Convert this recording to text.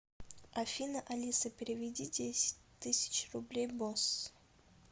афина алиса переведи десять тысяч рублей босс